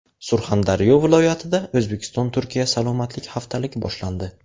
Surxondaryo viloyatida O‘zbekiston Turkiya salomatlik haftaligi boshlandi.